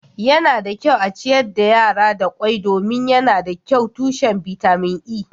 yana da kyau a ciyar da yara da kwai domin yana da kyau tushen bitamin E